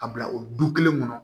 A bila o du kelen kɔnɔ